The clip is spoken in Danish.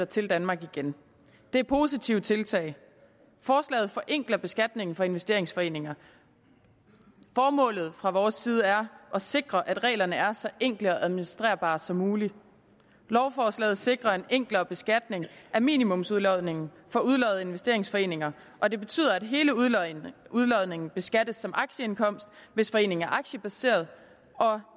til danmark igen det er positive tiltag forslaget forenkler beskatningen for investeringsforeninger formålet fra vores side er at sikre at reglerne er så enkle og administrerbare som muligt lovforslaget sikrer en enklere beskatning af minimumsudlodningen for udloddede investeringsforeninger og det betyder at hele udlodningen beskattes som aktieindkomst hvis foreningen er aktiebaseret og